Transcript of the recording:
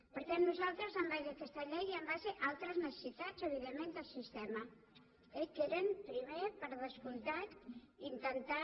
per tant nosaltres en base a aquesta llei i en base a altres necessitats evidentment del sistema que eren primer per descomptat intentar